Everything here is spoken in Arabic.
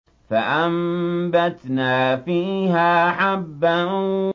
فَأَنبَتْنَا فِيهَا حَبًّا